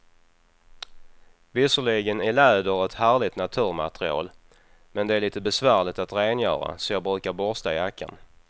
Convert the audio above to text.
Visserligen är läder ett härligt naturmaterial, men det är lite besvärligt att rengöra, så jag brukar borsta jackan.